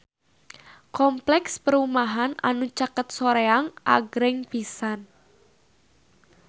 Kompleks perumahan anu caket Soreang agreng pisan